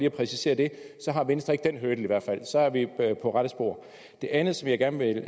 at præcisere det så har venstre ikke den hurdle så er vi på rette spor det andet som jeg gerne vil